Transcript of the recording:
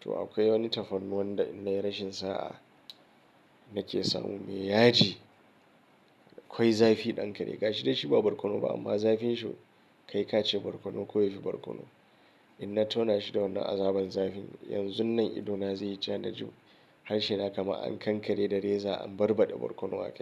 To akwai wani tafarnuwan da in na yi rashin sa'a nake samu mai yaji. Akwai zafi ɗankari ga shi dai shi ba barkono ba amma zafin shi kai ka ce barkono ko yafi barkono. Inna tauna shi da wannan azaban zafin, yanzun nan idona zai yi ja na ji harshe na kama an kankare da reza an barbaɗa barkono a can.